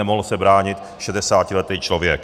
Nemohl se bránit, šedesátiletý člověk.